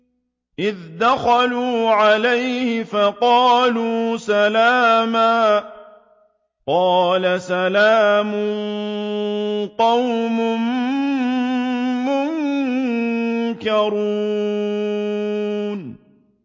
إِذْ دَخَلُوا عَلَيْهِ فَقَالُوا سَلَامًا ۖ قَالَ سَلَامٌ قَوْمٌ مُّنكَرُونَ